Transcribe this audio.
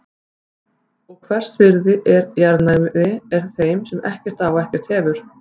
Og veist hvers virði jarðnæði er þeim sem ekkert á og ekkert hefur.